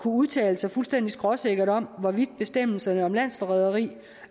udtale sig fuldstændig skråsikkert om hvorvidt bestemmelserne om landsforræderi